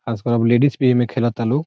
आस-पास लेडिज भी एमे खेलेतालू।